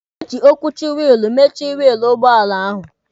E ji okwuchi wiilụ mechie wiilụ ụgbọala ahụ.